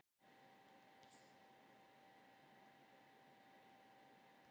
Hvers vegna gæti það þá verið?